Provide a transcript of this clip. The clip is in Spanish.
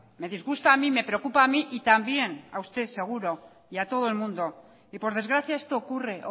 me disgusta a mi me preocupa a mi y también a usted seguro y a todo el mundo y por desgracia esto ocurre